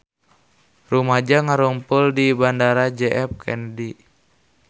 Rumaja ngarumpul di Bandara J F Kennedy